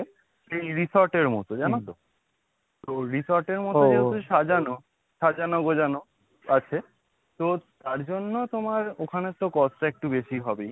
এই resort এর মতো জানো তো? তো resort এর মতো সাজানো, সাজানো গোছানো আছে। so তার জন্য তোমার ওখানে তো cost টা একটু বেশি হবেই।